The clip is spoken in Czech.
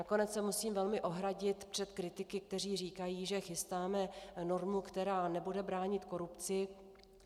Nakonec se musím velmi ohradit před kritiky, kteří říkají, že chystáme normu, která nebude bránit korupci.